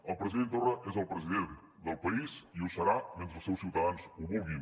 el president torra és el president del país i ho serà mentre els seus ciutadans ho vulguin